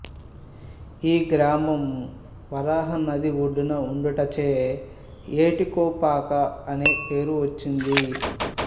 ఈ గ్రామం వరహ నది ఒడ్డున ఉండుటచే ఏటీకొప్పాక అనే పేరు వచ్చింది